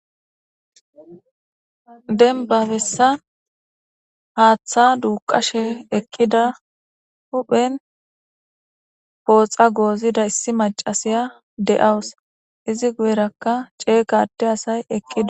Denbabessa haaththa duuqashe eqqida huphen pooxa goozida issi macasiya de'awus izi guyerakka cee gade asay eqqida.